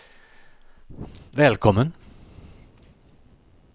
välkommen